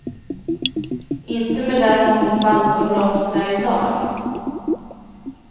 Inte med den mångfald som blomstrar i dag.